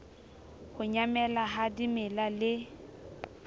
ho nyamela ha dimela le